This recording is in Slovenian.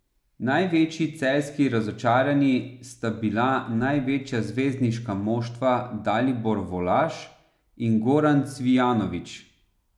Največji celjski razočaranji sta bila največja zvezdnika moštva Dalibor Volaš in Goran Cvijanović.